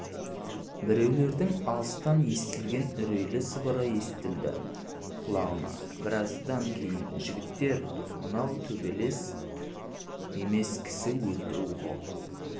біреулердің алыстан естілген үрейлі сыбыры естілді құлағына біраздан кейін жігіттер мынау төбелес емес кісі өлтіру ғо